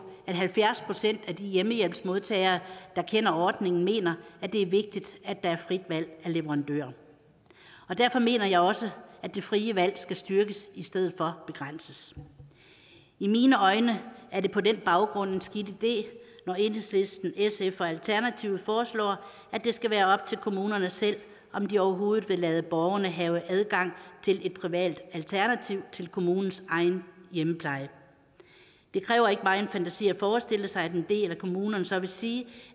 at halvfjerds procent af de hjemmehjælpsmodtagere der kender ordningen mener det er vigtigt at der er frit valg af leverandør derfor mener jeg også at det frie valg skal styrkes i stedet for begrænses i mine øjne er det på den baggrund en skidt idé når enhedslisten sf og alternativet foreslår at det skal være op til kommunerne selv om de overhovedet vil lade borgerne have adgang til et privat alternativ til kommunens egen hjemmepleje det kræver ikke megen fantasi at forestille sig at en del af kommunerne så vil sige